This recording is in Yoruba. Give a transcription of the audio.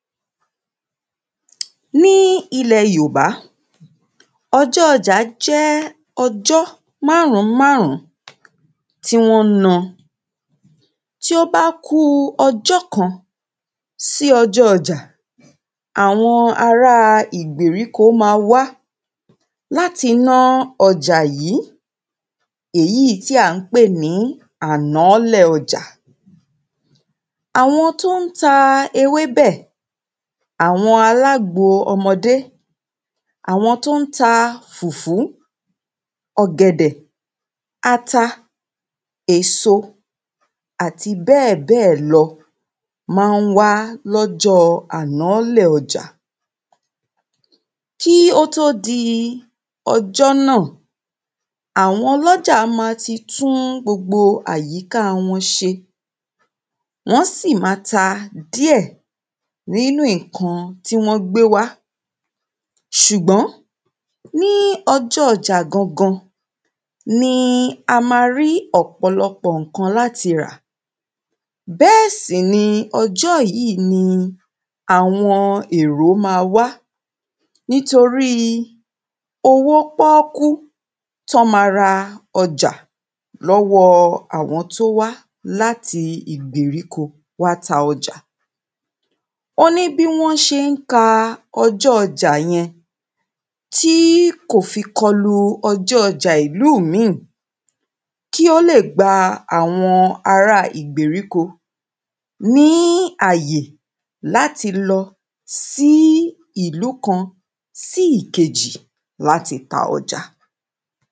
Ní ilẹ̀ Yorùbá ọjọ́ ọjà jẹ́ ọjọ́ márùn ún márùn ún tí wọ́n ń náa Tí ó bá ku ọjọ́ kan si ọjọ́ ọjà, àwọn ara ìgbéríko máa wá láti ná ọjà yìí èyí tí a pè ní ànáálẹ̀ ọjà àwọn tí ó ń ta ewébẹ̀, àwọn alágbo ọmọdé, àwọn tó ń ta fùfú, ọ̀gẹ̀dẹ̀, ata, èso, àti bẹ́ẹ̀bẹ́ẹ̀ lọ, máa wá lọ́jọ́ ànálẹ̀ ọjà Kí ó tó di ọjọ́ náà, àwọn ọlọ́jà máa ti tún gbogbo àyíka wọn ṣe, wọ́n sì máa ta díẹ̀ nínu ǹkan tí wọ́n gbé wá ṣùgbọ́n ní ọjọ́ ọjà gangan ni a máa rí ọ̀pọ̀lọpọ̀ ǹkan láti rà, bẹ́ẹ̀ sì ni ọjọ́ yìí ni àwọn èrò maá wá nítorí owó pọ́ọ́kú tọ́ maá ń ra ọjà lọ́wọ àwọn tó wá láti ìgbéríko wá ta ọjà ó ní bí wọ́n ṣe ń ka ọjọ́ ọjà yẹn, tí kò fi kọlu ọjọ́ ọjà ìlú míì kí ó lè gba àwọn ará ìgbéríko ní ààyè láti lọ sí ìlú kan sí ìkejì láti ta ọjà